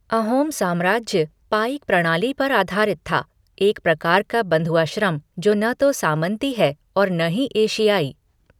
अहोम साम्राज्य पाइक प्रणाली पर आधारित था, एक प्रकार का बंधुआ श्रम जो न तो सामंती है और न ही एशियाई।